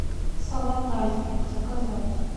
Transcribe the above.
салат айсберг заказать